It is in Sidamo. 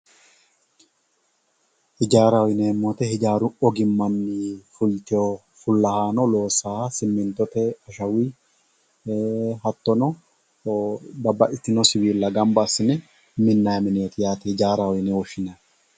ijaaraho yineemo woyiite ijaaru ogimmanni fultiyoo fullahaano soosaaha simintotte ashawuyii hattono babbaxitiyoo siwiilla gamba assine minayi mineeti yaate ijaaraho yine woshineemohu